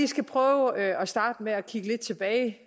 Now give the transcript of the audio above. skal prøve at starte med at kigge lidt tilbage